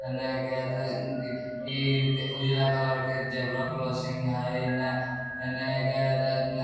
येने इ उजला कलर के जेब्रा क्रॉसिंग हई येने